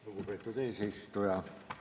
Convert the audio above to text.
Lugupeetud eesistuja!